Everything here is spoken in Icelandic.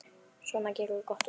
Svona, gerum gott úr þessu.